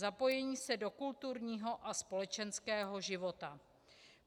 Zapojení se do kulturního a společenského života.